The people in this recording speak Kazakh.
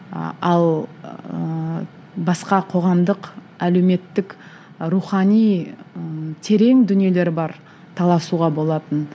а ал ыыы басқа қоғамдық әлеуметтік рухани ы терең дүниелер бар таласуға болатын